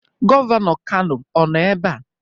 Gọvanọ Kano ọ nọ ebe a?